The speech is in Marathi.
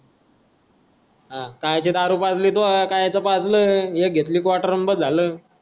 हा कह्या ची दारू पाजली त्वा कह्या च पाजलं एक घेतली क्वाटर अन बस झालं